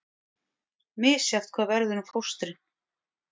Misjafnt hvað verður um fóstrin